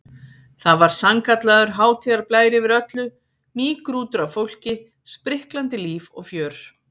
Það var sannkallaður hátíðarblær yfir öllu, mýgrútur af fólki, spriklandi líf og fjör.